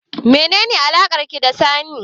Meye alakarki da Sani?